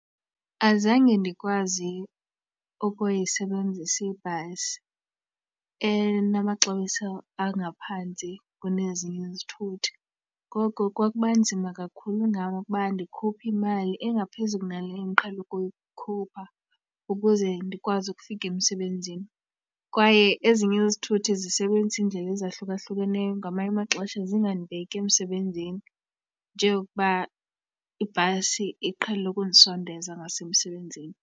Azange ndikwazi ukuyisebenzisa ibhasi enamaxabiso angaphantsi kunezinye izithuthi, ngoko kwakuba nzima kakhulu ngam ukuba ndikhuphe imali engaphezulu kunale endiqhele ukuyikhupha ukuze ndikwazi ukufika emsebenzini. Kwaye ezinye izithuthi zisebenzisa iindlela ezahlukahlukeneyo, ngamanye amaxesha zingandibeki emsebenzini, njengokuba ibhasi iqhele ukundisondeza ngasemsebenzini.